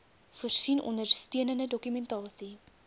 voorsien ondersteunende dokumentasie